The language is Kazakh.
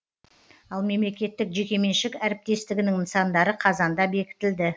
ал мемлекеттік жеке меншік әріптестігінің нысандары қазанда бекітілді